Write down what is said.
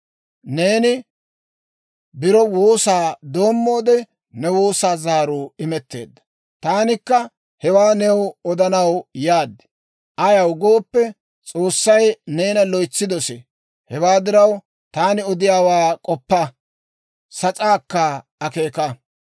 Neeni biro woosaa doommoode ne woosaa zaaruu imetteedda; taanikka hewaa new odanaw yaad. Ayaw gooppe, S'oossay neena loytsi dosee. Hewaa diraw, taani odiyaawaa k'oppa; sas'aakka akeeka.